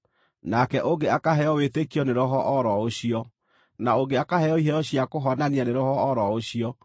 nake ũngĩ akaheo wĩtĩkio nĩ Roho o ro ũcio, na ũngĩ akaheo iheo cia kũhonania nĩ Roho o ro ũcio,